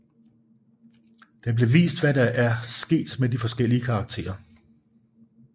Der bliver vist hvad der er sket med de forskellige karakterer